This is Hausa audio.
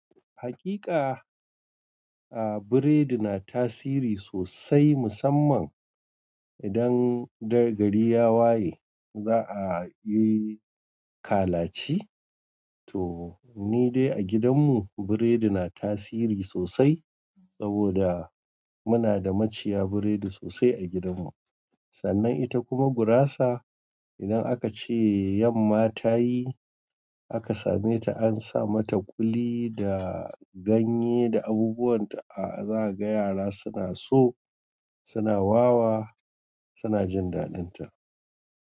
Hakika, a biredi na tasiri sosai musamman idan da gari ya waye za a yi kalaci. To ni dai a gidan mu biredi na tasiri sosai saboda muna da maciya biredi sosai a gidan mu. Sannan ita kuma gurasa idan aka ce yamma ta yi aka same ta an sa mata kuli da ganye da abubuwan ta, a za ka ga yara suna so suna wawa suna jin daɗin ta.